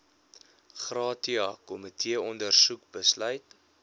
gratia komiteeondersoek besluit